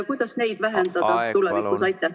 Kuidas neid vähendada tulevikus?